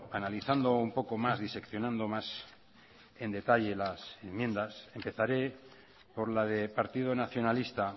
analizando un poco más diseccionando más en detalle las enmiendas empezaré por la de partido nacionalista